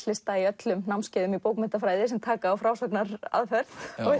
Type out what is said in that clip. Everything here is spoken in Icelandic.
leslista í öllum námskeiðum í bókmenntafræði sem taka á frásagnaraðferð